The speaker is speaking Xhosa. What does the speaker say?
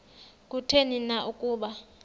kutheni na ukuba